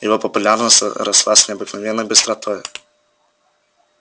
его популярность росла с необыкновенной быстротой